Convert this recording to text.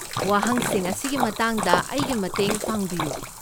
ꯋꯥꯍꯪꯁꯤꯡ ꯑꯁꯤꯒꯤ ꯃꯇꯥꯡꯗ ꯑꯩꯒꯤ ꯃꯇꯦꯡ ꯄꯥꯡꯕꯤꯌꯨ꯫